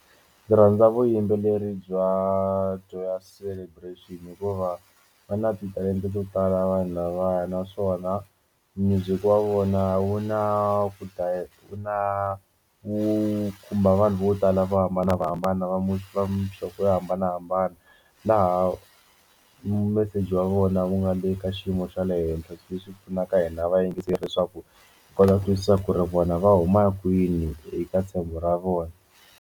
Ndzi rhandza vuyimbeleri bya Joyous Celebration then hikuva va na titalenta to tala vanhu lavaya naswona music wa vona wu na ku dya wu na wu khumba vanhu vo tala vo hambanahambana va muhlwa muhlovo yo hambanahambana laha meseji wa vona wu nga le ka xiyimo xa le henhla leswi pfunaka hina a va yingiseli leswaku hi kota ku twisisa ku ri vona va huma kwini eka ra vona.